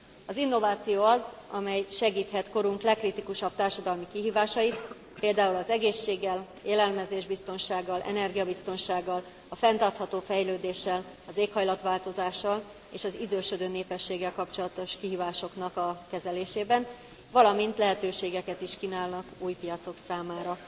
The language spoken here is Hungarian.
Az innováció az, amely segíthet korunk legkritikusabb társadalmi kihívásai, például az egészséggel, élelmezésbiztonsággal, energiabiztonsággal, a fenntartható fejlődéssel, az éghajlatváltozással és az idősödő népességgel kapcsolatos kihívásoknak a kezelésében, valamint lehetőségeket is kínálnak új piacok számára.